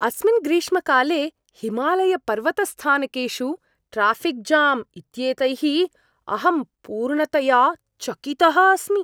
अस्मिन् ग्रीष्मकाले हिमालयपर्वतस्थानकेषु ट्राऴिक् जाम् इत्येतैः अहं पूर्णतया चकितः अस्मि!